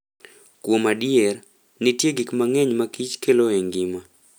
Kuom adier, nitie gik mang'eny ma Kich kelo e ngima.